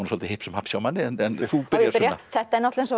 svolítið hipsum haps hjá manni þú byrjar Sunna þetta er náttúrulega